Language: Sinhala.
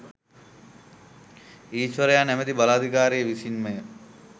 ඊෂ්වරයා නමැති බලාධිකාරිය විසින්මය.